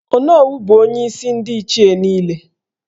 Onowu bụ onyeisi ndị Ndi Ichie niile